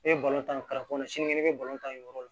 Ne bɛ balon ta kɔnɔ sini ne bɛ ta yen yɔrɔ la